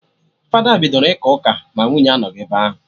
Fada bidoro ịka ụka ma nwunye anọghị ebe ahụ